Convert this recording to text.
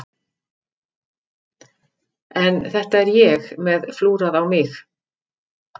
En þetta er ég með flúrað á mig.